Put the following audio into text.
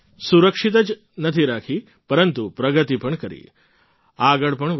સુરક્ષિત જ નથી રાખી પરંતુ પ્રગતિ પણ કરી આગળ પણ વધી